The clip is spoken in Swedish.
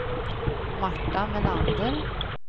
Marta Melander